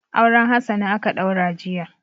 Auren Hassana aka ɗaura jiya.